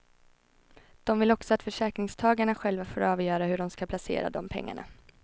De vill också att försäkringstagarna själva får avgöra hur de ska placera de pengarna.